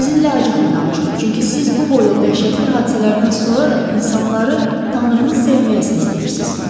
Sizinlə acıqlı danışdım, çünki siz bu boyda dəhşətli hadisələrdən sonra da insanları tanrını sevməyə səsləyirsiniz.